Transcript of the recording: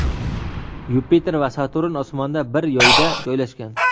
Yupiter va Saturn osmonda bir yoyda joylashgan.